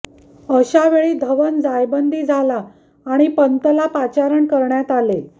अशावेळी धवन जायबंदी झाला आणि पंतला पाचारण करण्यात आले